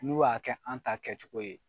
N'u y'a kɛ an ta kɛcogo ye